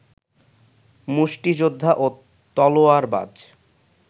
মুষ্টিযোদ্ধা ও তলোয়ারবাজ